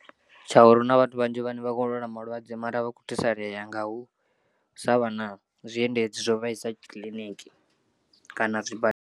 Tsha uri huna vhathu vhanzhi vhane vha khou lwala malwadze mara a vha khou thusalea nga u sa vha na zwiendedzi zwo vhaisa kiḽiniki kana zwibadela.